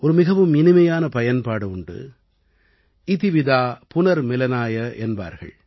ஒரு மிகவும் இனிமையான பயன்பாடு உண்டு - இதி விதா புனர்மிலனாய என்பார்கள்